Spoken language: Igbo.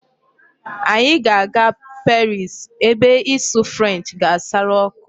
Anyị ga-aga Paris ebe ịsụ French ga-asara ọkụ.